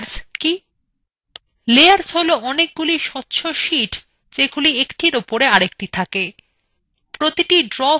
layers হলো অনেকগুলি স্বচ্ছ শীট যেগুলি একটির উপর অন্যটি থাকে